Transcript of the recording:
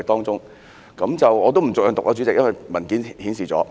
主席，我不逐項讀出，因為在文件中已經顯示了。